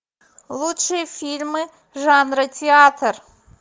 лучшие фильмы жанра театр